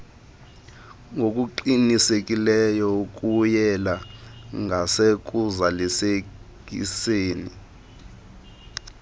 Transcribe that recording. ngokuqinileyo ukuyela ngasekuzalisekiseni